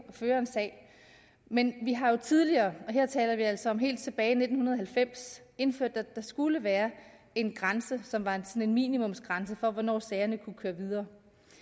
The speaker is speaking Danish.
at føre en sag men vi har jo tidligere og her taler vi altså om helt tilbage i nitten halvfems indført at der skulle være en grænse som var en minimumsgrænse for hvornår sagerne kunne køre videre